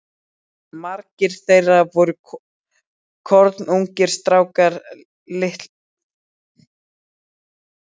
Margir þeirra voru kornungir strákar, litlu eldri en ég sjálfur.